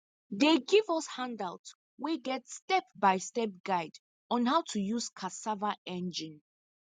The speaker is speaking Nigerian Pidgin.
dey give us handout wey get step by step guide on how to use cassava engine